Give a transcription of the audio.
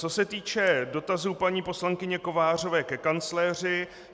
Co se týče dotazů paní poslankyně Kovářové ke kancléři.